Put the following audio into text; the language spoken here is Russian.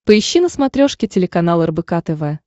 поищи на смотрешке телеканал рбк тв